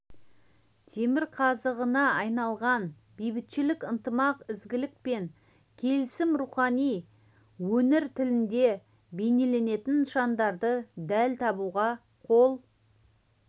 темірқазығына айналған бейбітшілік ынтымақ ізгілік пен келісім рухын өнер тілінде бейнелейтін нышандарды дәл табуға қол